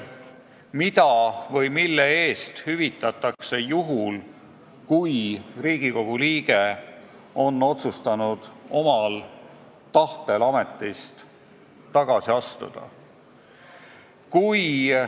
Mida hüvitatakse juhul, kui Riigikogu liige on otsustanud omal tahtel ametist tagasi astuda?